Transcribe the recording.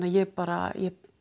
ég bara